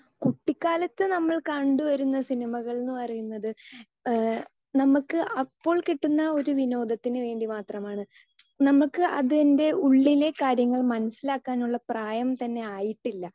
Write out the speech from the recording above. Speaker 2 കുട്ടിക്കാലത്ത് നമ്മൾ കണ്ടുവരുന്ന സിനിമകൾ എന്നു പറയുന്നത്, നമുക്ക് അപ്പോൾ കിട്ടുന്ന ഒരു വിനോദത്തിനു വേണ്ടി മാത്രമാണ്. നമുക്ക് അതിൻറെ ഉള്ളിലെ കാര്യങ്ങൾ മനസ്സിലാക്കാനുള്ള പ്രായം തന്നെ ആയിട്ടില്ല.